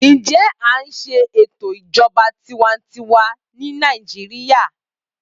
Ǹjẹ àń ṣe ètò ìjọba tiwańtiwa ní Nàìjíría?